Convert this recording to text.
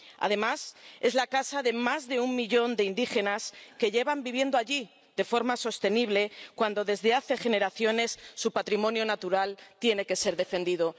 Además, es la casa de más de un millón de indígenas que llevan viviendo allí de forma sostenible desde hace generaciones, y ahora su patrimonio natural tiene que ser defendido.